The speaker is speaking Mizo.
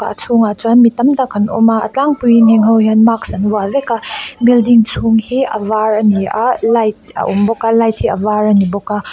a chhung ah chuan mi tam tak an awm a a tlangpui in heng ho hian mask an vuah vek a building chhung hi a var ani a light a awm bawk a light hi a var ani bawk a.